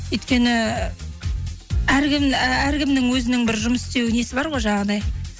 өйткені әркімнің өзінің бір жұмыс істеу несі бар ғой жаңағындай